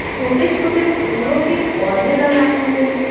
छोटे-छोटे फूलों के पौधे लगाए हुए हैं।